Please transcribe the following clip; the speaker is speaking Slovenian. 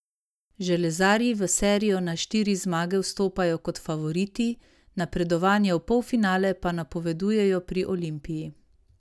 Železarji v serijo na štiri zmage vstopajo kot favoriti, napredovanje v polfinale pa napovedujejo pri Olimpiji.